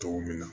Tɔw bɛ na